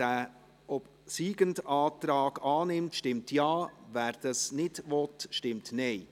Wer den obsiegenden Antrag annimmt, stimmt Ja, wer dies nicht will, stimmt Nein.